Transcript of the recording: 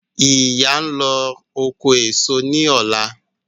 Ìyá ń lọ oko èso ní ọ̀la